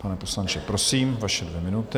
Pane poslanče, prosím, vaše dvě minuty.